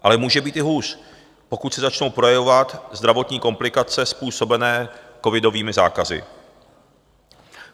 Ale může být i hůř, pokud se začnou projevovat zdravotní komplikace způsobené covidovými zákazy.